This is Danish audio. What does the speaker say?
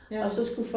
Ja